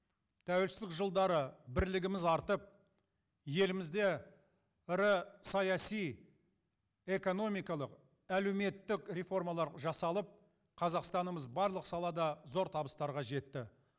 тәуелсіздік жылдары бірлігіміз артып елімізде ірі саяси экономикалық әлеуметтік реформалар жасалып қазақстанымыз барлық салада зор табыстарға жетті